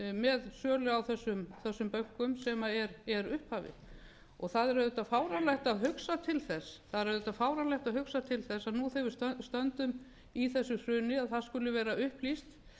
með sölu á þessum bönkum sem er upphafið það er auðvitað fáránlegt að hugsa til þess að nú þegar við stöndum í þessu hruni að það skuli vera upplýst